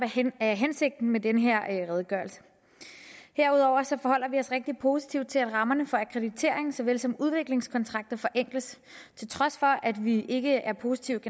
er hensigten med den her redegørelse herudover forholder vi os rigtig positivt til det at rammerne for akkreditering såvel som for udviklingskontrakter forenkles til trods for at vi generelt ikke er positivt